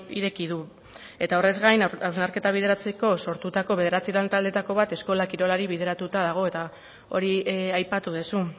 ireki du eta horrez gain hausnarketa bideratzeko sortutako bederatzi lantaldeetako bat eskola kirolari bideratuta dago eta hori aipatu duzu